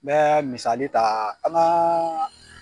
N bɛ misali ta an ka